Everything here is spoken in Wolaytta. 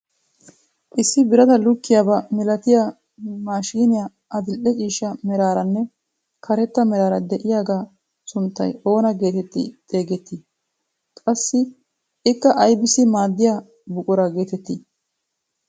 Issi birataa lukkiyaaba milatiyaa maashiniyaa adil'e ciishsha meraranne karetta meraara de'iyaagaa sunttay oona getetti xeegettii? qassi ikka aybissi maaddiyaa buquraa getettii?